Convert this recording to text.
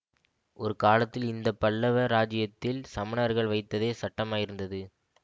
ஒரு காலத்தில் இந்த பல்லவ ராஜ்யத்தில் சமணர்கள் வைத்ததே சட்டமாயிருந்தது